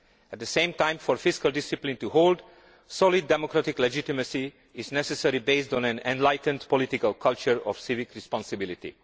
At the same time, for fiscal discipline to hold, solid democratic legitimacy is necessary, based on an enlightened political culture of civic responsibility.